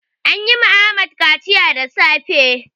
An yi wa Ahmad kaciya da safe.